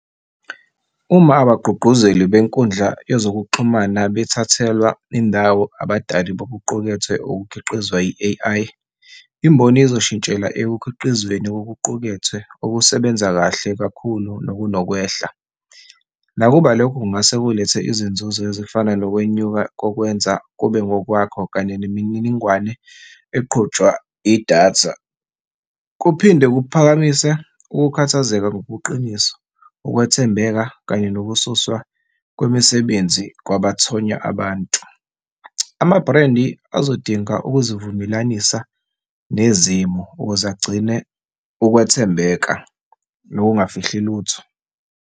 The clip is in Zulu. Uma abagqugquzeli benkundla yezokuxhumana bethathelwa indawo abadali bokuqukethwe okukhiqizwa i-A_I, imboni izoshintshela ekukhiqizweni kokuqukethwe okusebenza kahle kakhulu nokunokwehla. Nakuba lokho kungase kulethe izinzuzo ezifana nokwenyuka kokwenza kube ngokwakho kanye nemininingwane eqhutshwa idatha. Kuphinde kuphakamise ukukhathazeka ngobuqiniso, ukwethembeka kanye nokususwa kwemisebenzi kwabathonya abantu. Amabhrendi bazodinga ukuzivumelanisa nezimo ukuze agcine ukwethembeka nokungafihli lutho.